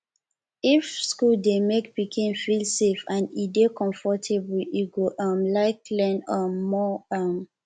if school dey make pikin feel safe and e dey comfortable e go um like learn um more um